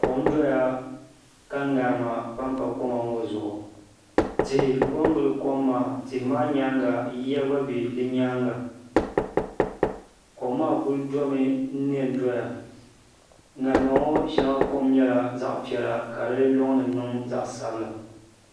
Kom doya ka ŋarima panpa koma ŋo zuɣu tihi ko n gili kom maa tihi maa nyaanga yiya gba biɛni kom maa kuli domi n nɛ n doya ŋarima ŋo shɛŋa kom nyɛla zaɣ piɛla ka di loŋni niŋ zaɣ sabila